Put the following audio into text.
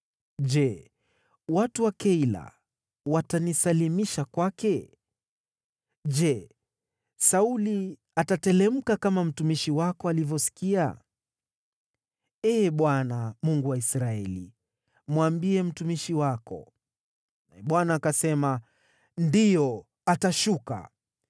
Je, watu wa Keila watanisalimisha kwake? Je, Sauli atateremka, kama mtumishi wako alivyosikia? Ee Bwana , Mungu wa Israeli, mwambie mtumishi wako.” Naye Bwana akasema, “Ndiyo, atashuka.”